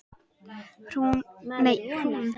Hún stendur í fjórar vikur.